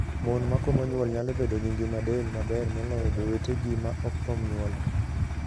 Mon ma komo nyuol nyalo bedo gi ngima del maber moloyo jowetegi ma ok kom nyuol.